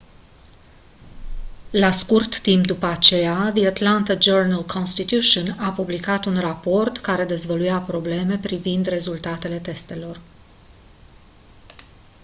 la scurt timp după aceea the atlanta journal-constitution a publicat un raport care dezvăluia probleme privind rezultatele testelor